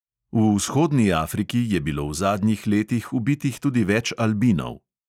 V vzhodni afriki je bilo v zadnjih letih ubitih tudi več albinov.